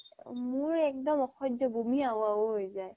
মোৰ একদম অসহ্য় বমি আহো আহি হৈ যাই